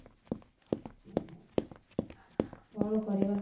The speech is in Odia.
କଣ କରିବା